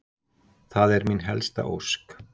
Það er mín helsta ósk